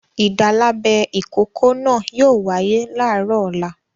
Ìdálábẹ ìkókó náà yóò wáyé láàárọ̀ ọ̀la!